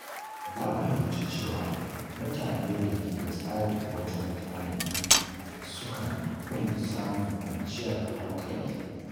Na fahimci cewa mutane da ke da tsari wajen tanadi sukan fi samun kwanciyar hankali.